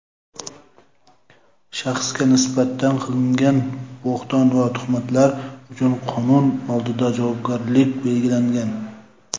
shaxsga nisbatan qilingan bo‘hton va tuhmatlar uchun qonun oldida javobgarlik belgilangan.